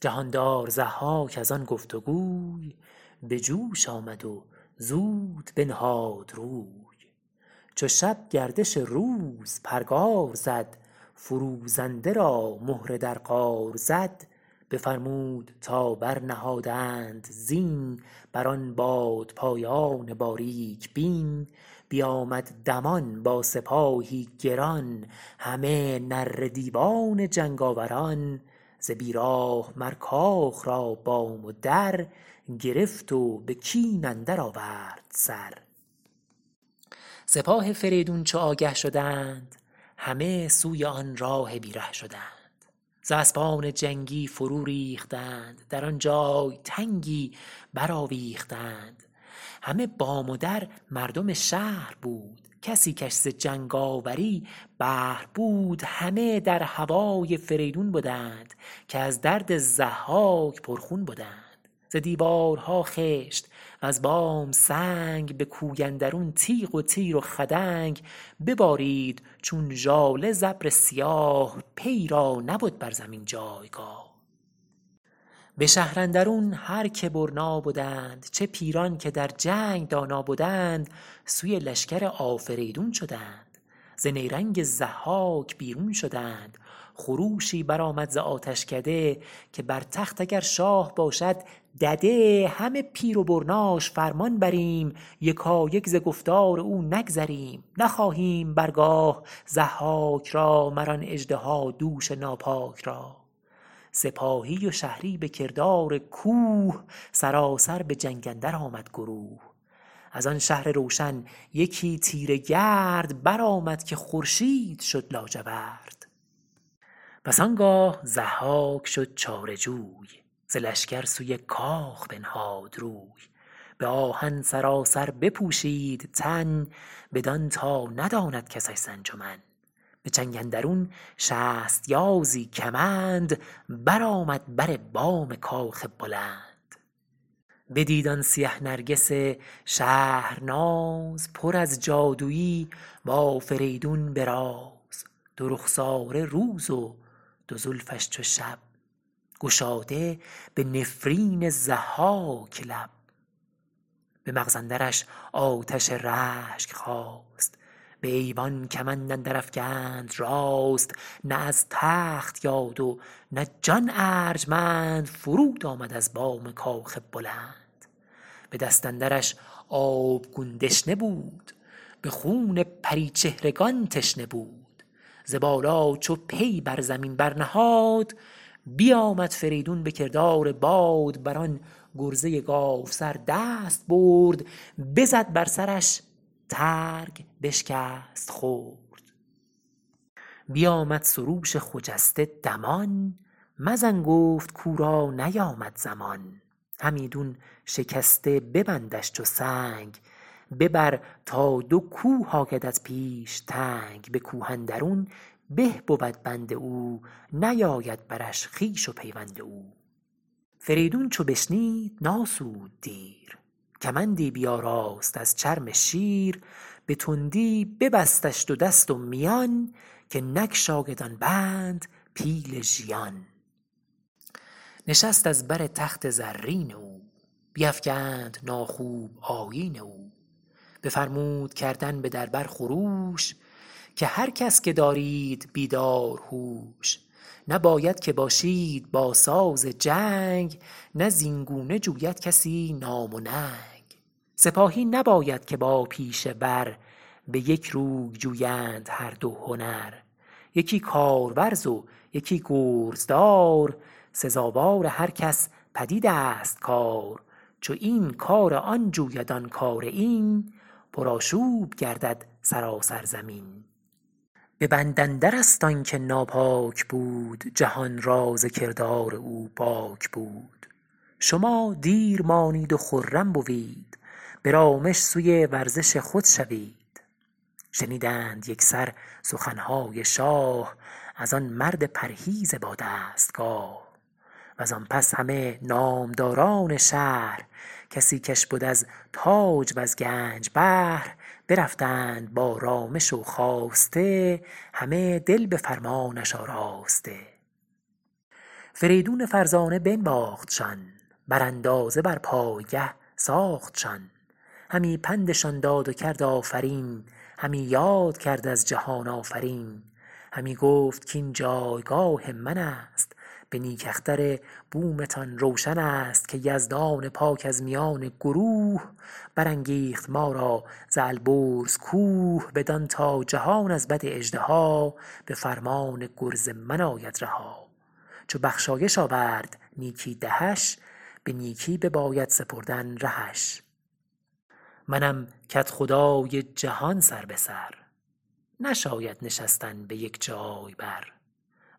جهاندار ضحاک از آن گفت گوی به جوش آمد و زود بنهاد روی چو شب گردش روز پرگار زد فروزنده را مهره در قار زد بفرمود تا برنهادند زین بر آن بادپایان باریک بین بیامد دمان با سپاهی گران همه نره دیوان جنگاوران ز بی راه مر کاخ را بام و در گرفت و به کین اندر آورد سر سپاه فریدون چو آگه شدند همه سوی آن راه بی ره شدند ز اسپان جنگی فرو ریختند در آن جای تنگی برآویختند همه بام و در مردم شهر بود کسی کش ز جنگاوری بهر بود همه در هوای فریدون بدند که از درد ضحاک پرخون بدند ز دیوارها خشت وز بام سنگ به کوی اندرون تیغ و تیر و خدنگ ببارید چون ژاله ز ابر سیاه پیی را نبد بر زمین جایگاه به شهر اندرون هر که برنا بدند چه پیران که در جنگ دانا بدند سوی لشکر آفریدون شدند ز نیرنگ ضحاک بیرون شدند خروشی برآمد ز آتشکده که بر تخت اگر شاه باشد دده همه پیر و برناش فرمان بریم یکایک ز گفتار او نگذریم نخواهیم بر گاه ضحاک را مر آن اژدهادوش ناپاک را سپاهی و شهری به کردار کوه سراسر به جنگ اندر آمد گروه از آن شهر روشن یکی تیره گرد برآمد که خورشید شد لاجورد پس آنگاه ضحاک شد چاره جوی ز لشکر سوی کاخ بنهاد روی به آهن سراسر بپوشید تن بدان تا نداند کسش ز انجمن به چنگ اندرون شست یازی کمند برآمد بر بام کاخ بلند بدید آن سیه نرگس شهرناز پر از جادویی با فریدون به راز دو رخساره روز و دو زلفش چو شب گشاده به نفرین ضحاک لب به مغز اندرش آتش رشک خاست به ایوان کمند اندر افگند راست نه از تخت یاد و نه جان ارجمند فرود آمد از بام کاخ بلند به دست اندرش آبگون دشنه بود به خون پریچهرگان تشنه بود ز بالا چو پی بر زمین برنهاد بیآمد فریدون به کردار باد بر آن گرزه گاوسر دست برد بزد بر سرش ترگ بشکست خرد بیآمد سروش خجسته دمان مزن گفت کاو را نیامد زمان همیدون شکسته ببندش چو سنگ ببر تا دو کوه آیدت پیش تنگ به کوه اندرون به بود بند او نیاید برش خویش و پیوند او فریدون چو بشنید نآسود دیر کمندی بیاراست از چرم شیر به تندی ببستش دو دست و میان که نگشاید آن بند پیل ژیان نشست از بر تخت زرین او بیفگند ناخوب آیین او بفرمود کردن به در بر خروش که هر کس که دارید بیدار هوش نباید که باشید با ساز جنگ نه زین گونه جوید کسی نام و ننگ سپاهی نباید که با پیشه ور به یک روی جویند هر دو هنر یکی کارورز و یکی گرزدار سزاوار هر کس پدید است کار چو این کار آن جوید آن کار این پرآشوب گردد سراسر زمین به بند اندر است آن که ناپاک بود جهان را ز کردار او باک بود شما دیر مانید و خرم بوید به رامش سوی ورزش خود شوید شنیدند یکسر سخنهای شاه از آن مرد پرهیز با دستگاه وز آن پس همه نامداران شهر کسی کش بد از تاج وز گنج بهر برفتند با رامش و خواسته همه دل به فرمانش آراسته فریدون فرزانه بنواختشان بر اندازه بر پایگه ساختشان همی پندشان داد و کرد آفرین همی یاد کرد از جهان آفرین همی گفت کاین جایگاه من است به نیک اختر بومتان روشن است که یزدان پاک از میان گروه برانگیخت ما را ز البرز کوه بدان تا جهان از بد اژدها به فرمان گرز من آید رها چو بخشایش آورد نیکی دهش به نیکی بباید سپردن رهش منم کدخدای جهان سر به سر نشاید نشستن به یک جای بر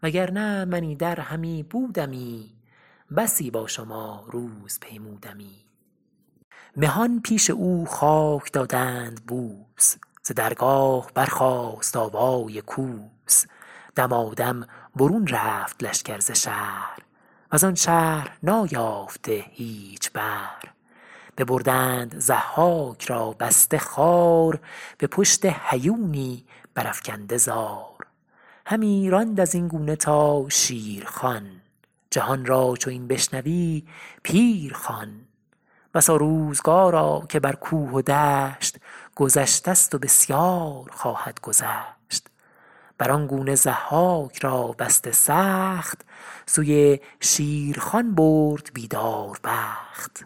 وگر نه من ایدر همی بودمی بسی با شما روز پیمودمی مهان پیش او خاک دادند بوس ز درگاه برخاست آوای کوس دمادم برون رفت لشکر ز شهر وز آن شهر نایافته هیچ بهر ببردند ضحاک را بسته خوار به پشت هیونی برافگنده زار همی راند از این گونه تا شیرخوان جهان را چو این بشنوی پیر خوان بسا روزگارا که بر کوه و دشت گذشته ست و بسیار خواهد گذشت بر آن گونه ضحاک را بسته سخت سوی شیرخوان برد بیداربخت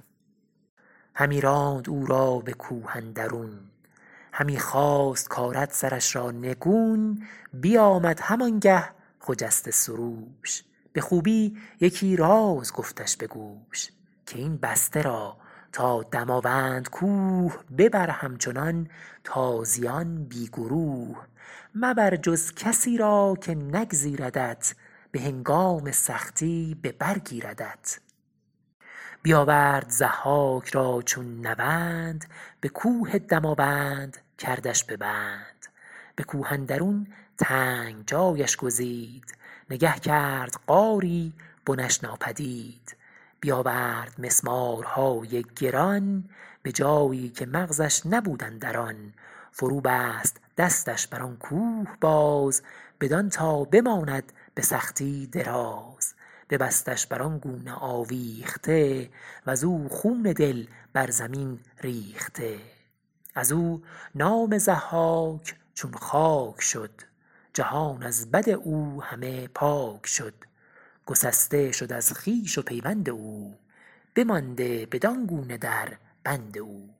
همی راند او را به کوه اندرون همی خواست کآرد سرش را نگون بیآمد هم آن گه خجسته سروش به خوبی یکی راز گفتش به گوش که این بسته را تا دماوند کوه ببر همچنان تازیان بی گروه مبر جز کسی را که نگزیردت به هنگام سختی به بر گیردت بیآورد ضحاک را چون نوند به کوه دماوند کردش به بند به کوه اندرون تنگ جایش گزید نگه کرد غاری بنش ناپدید بیآورد مسمارهای گران به جایی که مغزش نبود اندران فرو بست دستش بر آن کوه باز بدان تا بماند به سختی دراز ببستش بر آن گونه آویخته وز او خون دل بر زمین ریخته از او نام ضحاک چون خاک شد جهان از بد او همه پاک شد گسسته شد از خویش و پیوند او بمانده بدان گونه در بند او